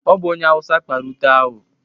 Ọ bụ onye awụsa kpara ute ahụ.